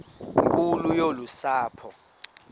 nkulu yolu sapho